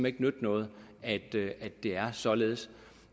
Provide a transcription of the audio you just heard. ikke nytte noget at det er således